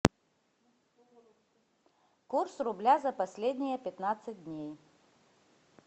курс рубля за последние пятнадцать дней